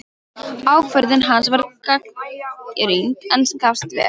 Ákvörðun hans var gagnrýnd, en gafst vel.